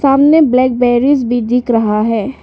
सामने blackberries भी दिख रहा है।